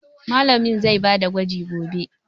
Mallamin zai ba da gwaji gobe.